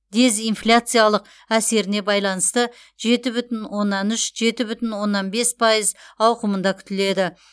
дезинфляциялық әсеріне байланысты жеті бүтін оннан үш жеті бүтін оннан бес пайыз ауқымында күтіледі